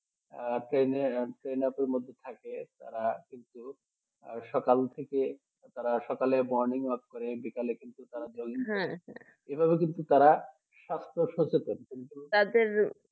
আর সেমি সে মতন থাকে তারা কিন্তু সকাল থেকে তারা সকালে morning walk করে বিকালে কিন্তু এভাবে কিন্তু তারা স্বাস্থ্য সচেতন তাদের